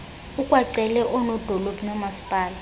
ukwacele oosodolophu noomaspala